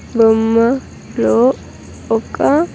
గుమ్మట్-- లో ఒక.